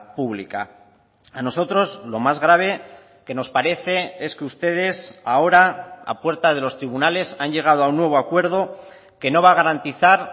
pública a nosotros lo más grave que nos parece es que ustedes ahora a puerta de los tribunales han llegado a un nuevo acuerdo que no va a garantizar